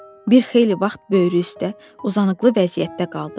Bir xeyli vaxt böyrü üstə uzanıqlı vəziyyətdə qaldı.